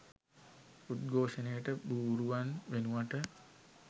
උද්ඝෝෂණයට බූරුවන් වෙනුවට